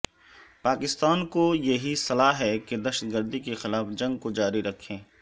پاکستان کو یہی صلاح ہے کہ دہشت گردی کے خلاف جنگ کو جاری رکھے